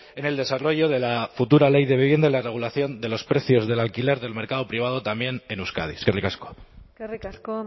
en el desarrollo de la futura ley de vivienda la regulación de los precios del alquiler del mercado privado también en euskadi eskerrik asko eskerrik asko